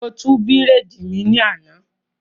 Mo tú bírèèdì mi ní àná